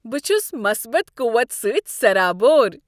بہٕ چھس مٖصبت قووت سٕتۍ سرابور ۔